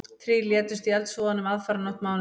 Þrír létust í eldsvoðanum aðfararnótt mánudags